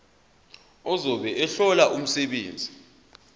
ozobe ehlola umsebenzi